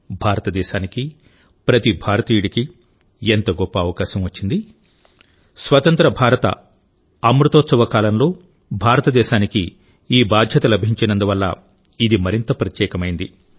భారతదేశానికి ప్రతి భారతీయుడికి ఎంత గొప్ప అవకాశం వచ్చింది స్వతంత్ర భారత అమృతోత్సవ కాలంలో భారతదేశానికి ఈ బాధ్యత లభించినందువల్ల ఇది మరింత ప్రత్యేకమైంది